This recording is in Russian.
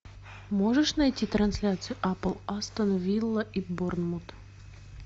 можешь найти трансляцию апл астон вилла и борнмут